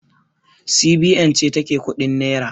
CBN ce ta ke kuɗin nera